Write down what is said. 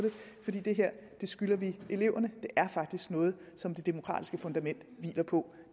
det her skylder vi eleverne det er faktisk noget som det demokratiske fundament hviler på